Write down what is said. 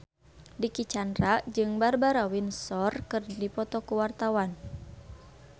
Dicky Chandra jeung Barbara Windsor keur dipoto ku wartawan